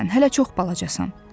Hələ çox balacasan.